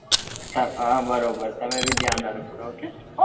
હા બરોબર તમે બી ધ્યાન રાખજો ok